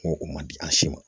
Ko o ma di an si ma